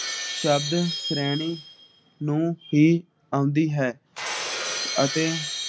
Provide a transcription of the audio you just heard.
ਸ਼ਬਦ ਰਹਿਣੇ ਨੂੰ ਹੀ ਆਉਂਦੀ ਹੈ । ਅਤੇ